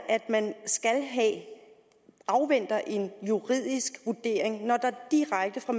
at man afventer en juridisk vurdering når der direkte fra